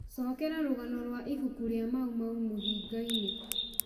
cokera rũgano rwa ibuku ria maumau mũhinga-inĩ